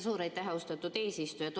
Suur aitäh, austatud eesistuja!